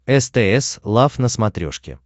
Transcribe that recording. стс лав на смотрешке